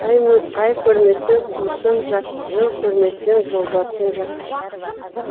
ай көрмесең туысың жат жыл көрмесең жолдасың жат